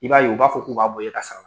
I b'a ye u b'a fɔ k'u b'a bɔ i ka sara la.